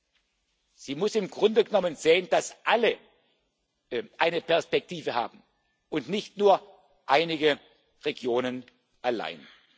Man muss im Grunde genommen sehen, dass alle eine Perspektive haben, und nicht nur einige Regionen allein.